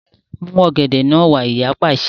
Mú ọ̀gẹ̀dẹ̀ náà wá! Ìyá pàṣẹ.